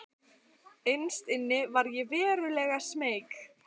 Innst inni var ég verulega smeyk.